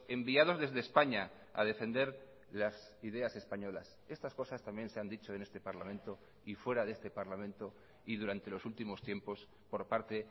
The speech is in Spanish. enviados desde españa a defender las ideas españolas estas cosas también se han dicho en este parlamento y fuera de este parlamento y durante los últimos tiempos por parte